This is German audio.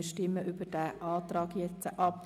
Wir stimmen über diesen Antrag ab.